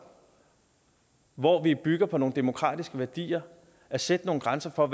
hvor vi bygger på nogle demokratiske værdier at sætte nogle grænser for